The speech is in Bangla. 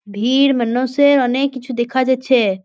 ভিড় মানুষেরঅনেক কিছু দেখা যাচ্ছে।